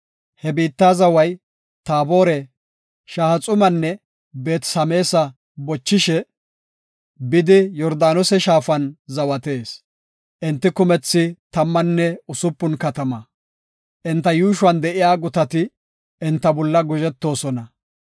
He biitta zaway Taabore, Shahaxumanne Beet-Sameesa bochishe bidi, Yordaanose shaafan zawatees. Enti kumethi tammanne usupun katama; enta yuushuwan de7iya gutati enta bolla guzhetoosona.